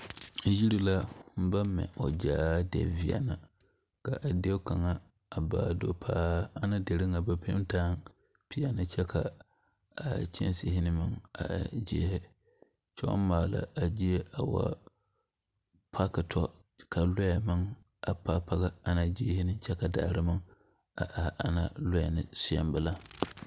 Yiri la baŋ mɛ o zaa de veɛlɛ ka a die kaŋa a baa do paa ana deri ŋa ba penti a la pɛɛle kyɛ ka a kyɛnsarii meŋ a e zeɛre kyɛ baŋ maale a zie a wuo. parki tɔ ka lɔɛ meŋ a paaki paaki ana ziiri ne kyɛ ka daare meŋ are ana lɔɛ ne seɛŋ bela.